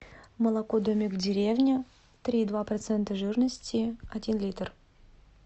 молоко домик в деревне три и два процента жирности один литр